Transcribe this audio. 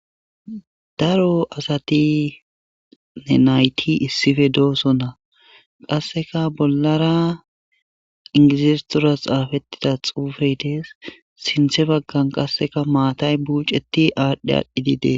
Daro asatine nayti issife dooso na qasseka bollara ingizistoras xaafettida xuufey dees sinthe baggan qasseka maatay buuceti aadhdhe aadhdhi dide